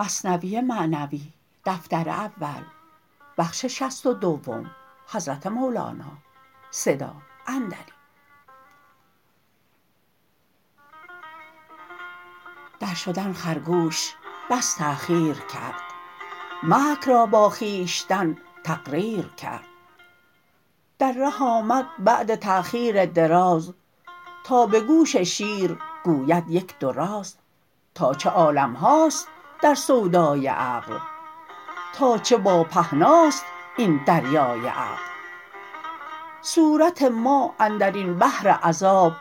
در شدن خرگوش بس تاخیر کرد مکر را با خویشتن تقریر کرد در ره آمد بعد تاخیر دراز تا به گوش شیر گوید یک دو راز تا چه عالم هاست در سودای عقل تا چه با پهنا ست این دریای عقل صورت ما اندرین بحر عذاب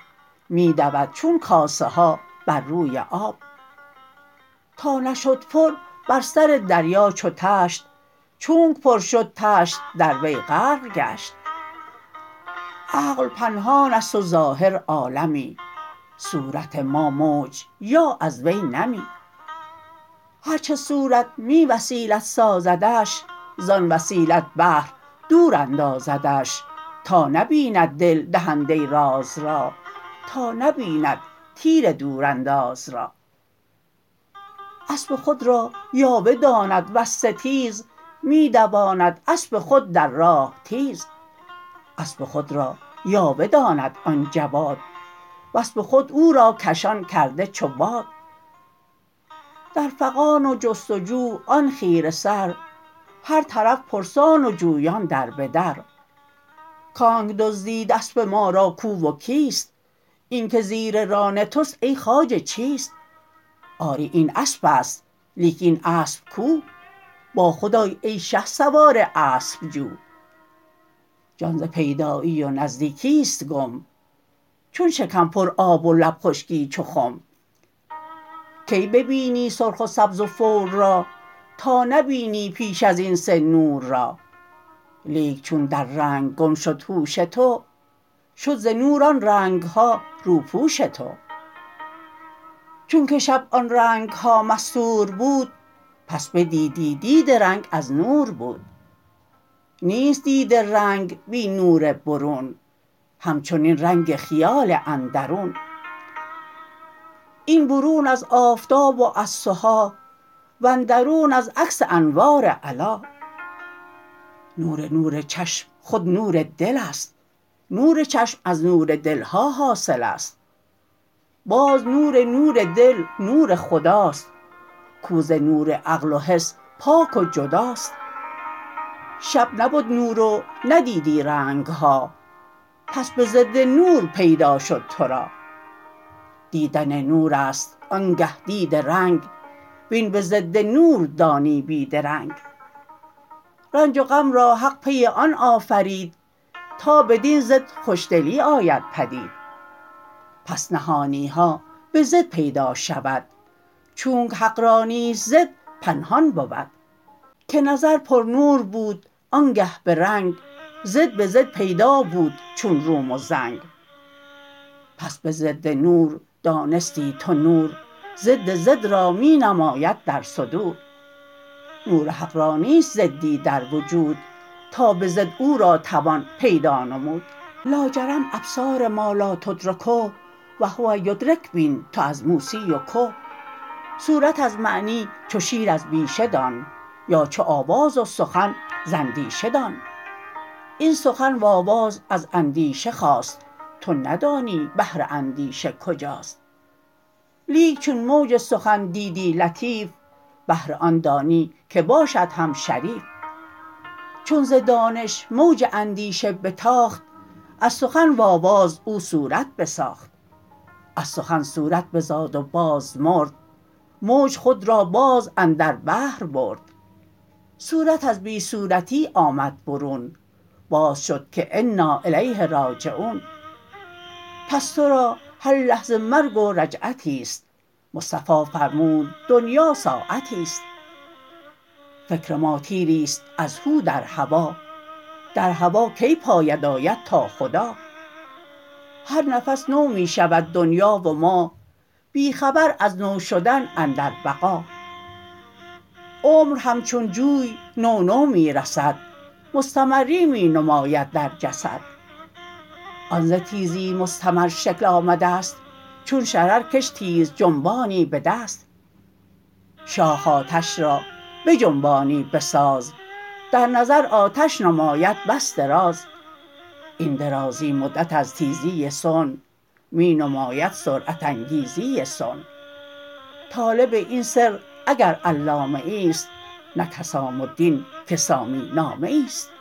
می دود چون کاسه ها بر روی آب تا نشد پر بر سر دریا چو تشت چونکه پر شد تشت در وی غرق گشت عقل پنهان ست و ظاهر عالمی صورت ما موج یا از وی نمی هر چه صورت بی وسیلت سازدش ز آن وسیلت بحر دور اندازدش تا نبیند دل دهنده راز را تا نبیند تیر دورانداز را اسپ خود را یاوه داند وز ستیز می دواند اسپ خود در راه تیز اسپ خود را یاوه داند آن جواد و اسپ خود او را کشان کرده چو باد در فغان و جست و جو آن خیره سر هر طرف پرسان و جویان در به در کانکه دزدید اسپ ما را کو و کیست این که زیر ران تست ای خواجه چیست آری این اسپست لیک این اسپ کو با خود آی ای شهسوار اسپ جو جان ز پیدایی و نزدیکی ست گم چون شکم پر آب و لب خشکی چو خم تا نبینی سرخ و سبز و بور را کی ببینی پیش ازین سه نور را لیک چون در رنگ گم شد هوش تو شد ز نور آن رنگ ها روپوش تو چونکه شب آن رنگ ها مستور بود پس بدیدی دید رنگ از نور بود نیست دید رنگ بی نور برون همچنین رنگ خیال اندرون این برون از آفتاب و از سها و اندرون از عکس انوار علا نور نور چشم خود نور دل ست نور چشم از نور دل ها حاصل ست باز نور نور دل نور خدا ست کاو ز نور عقل و حس پاک و جدا ست شب نبد نور و ندیدی رنگ ها پس به ضد نور پیدا شد ترا دیدن نور ست آنگه دید رنگ وین به ضد نور دانی بی درنگ رنج و غم را حق پی آن آفرید تا بدین ضد خوش دلی آید پدید پس نهانی ها به ضد پیدا شود چونک حق را نیست ضد پنهان بود که نظر بر نور بود آنگه به رنگ ضد به ضد پیدا بود چون روم و زنگ پس به ضد نور دانستی تو نور ضد ضد را می نماید در صدور نور حق را نیست ضد ی در وجود تا به ضد او را توان پیدا نمود لاجرم ابصار ما لا تدرکه و هو یدرک بین تو از موسی و که صورت از معنی چو شیر از بیشه دان یا چو آواز و سخن ز اندیشه دان این سخن و آواز از اندیشه خاست تو ندانی بحر اندیشه کجاست لیک چون موج سخن دیدی لطیف بحر آن دانی که باشد هم شریف چون ز دانش موج اندیشه بتاخت از سخن و آواز او صورت بساخت از سخن صورت بزاد و باز مرد موج خود را باز اندر بحر برد صورت از بی صورتی آمد برون باز شد که انا الیه راجعون پس ترا هر لحظه مرگ و رجعتیست مصطفی فرمود دنیا ساعتیست فکر ما تیر ی ست از هو در هوا در هوا کی پاید آید تا خدا هر نفس نو می شود دنیا و ما بی خبر از نو شدن اندر بقا عمر همچون جوی نو نو می رسد مستمری می نماید در جسد آن ز تیزی مستمر شکل آمده ست چون شرر کش تیز جنبانی بدست شاخ آتش را بجنبانی بساز در نظر آتش نماید بس دراز این درازی مدت از تیزی صنع می نماید سرعت انگیزی صنع طالب این سر اگر علامه ای ست نک حسام الدین که سامی نامه ای ست